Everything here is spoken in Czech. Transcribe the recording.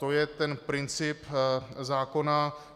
To je ten princip zákona.